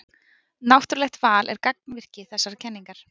Náttúrlegt val er gangvirki þessarar kenningar.